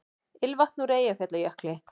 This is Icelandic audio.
Ilmvatn úr Eyjafjallajökli